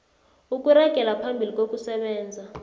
ukuragela phambili ngokusebenza